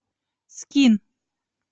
скин